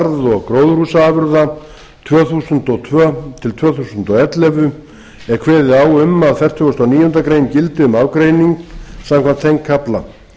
og gróðurhúsaafurða tvö þúsund og tvö til tvö þúsund og ellefu er kveðið á um að fertugasta og níundu grein gildi um ágreining samkvæmt þeim kafla